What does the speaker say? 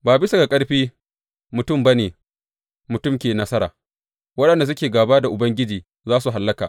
Ba bisa ga ƙarfi mutum ba ne mutum ke nasara; waɗanda suke gāba da Ubangiji za su hallaka.